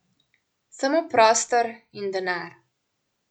Samo prostor in denar.